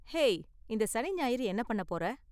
Hey, இந்த சனி ஞாயிறு என்ன பண்ண போற?